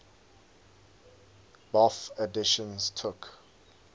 bofh editions took